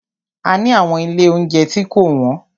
A ni àwọn ilé óunjẹ tí kò wọ́n.